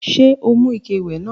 Ṣé o mú ike ìwẹ̀ náà?